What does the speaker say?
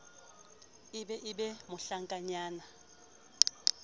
e be e be mohlankanyana